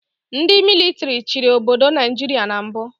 Ndị mịlịtrị chịrị obodo Naijiria na mbụ